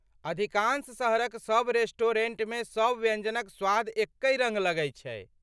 अधिकांश शहरक सब रेस्टोरेंटमे सब व्यञ्जनक स्वाद एकहि रङ्ग लगै छै।